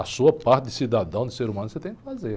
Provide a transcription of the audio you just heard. A sua parte de cidadão, de ser humano, você tem que fazer.